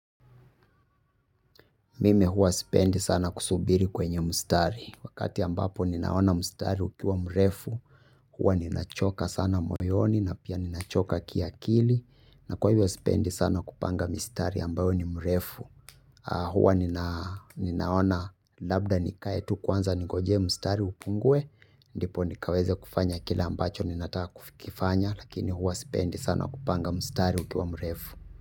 Mimi hua spendi sana kusubiri kwenye mustari wakati ambapo ninaona mustari ukiwa mrefu hua ninachoka sana moyoni na pia ninachoka kiakili na kwa hivyo spendi sana kupanga mistari ambayo ni mrefu hua ninaona labda nikae tu kwanza ningoje mustari upunguwe ndipo nikaweze kufanya kila ambacho ninataka kufikifanya lakini hua spendi sana kupanga mustari ukiwa mrefu.